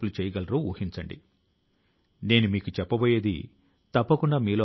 దీని ఉద్దేశ్యం ఏమిటంటే ప్రజలు చెత్త ను ఇవ్వడం బదులు గా నగదు తీసుకోవడం